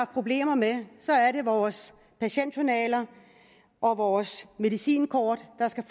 problemer med er det vores patientjournaler og vores medicinkort der skal